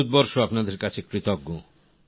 ভারতবর্ষ আপনাদের কাছে কৃতজ্ঞ